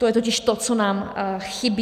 To je totiž to, co nám chybí.